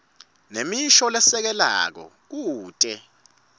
nemisho lesekelako kute